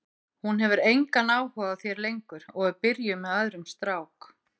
Hún hefur engan áhuga á þér lengur og er byrjuð með öðrum strák.